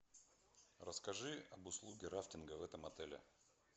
расскажи об услуге рафтинга в этом отеле